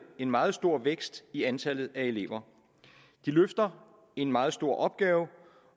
en meget stor vækst i antallet af elever de løfter en meget stor opgave